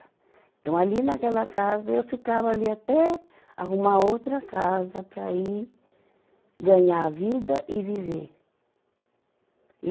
Então, ali naquela casa, eu ficava ali até arrumar outra casa para ir ganhar vida e viver. e